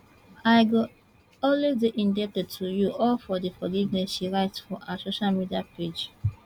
i go always dey indebted to you all for forgiveness she write for her social media page